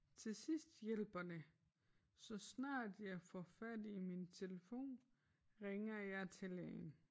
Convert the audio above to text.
Til sidst hjælper det så snart jeg får fat i min telefon ringer jeg til lægen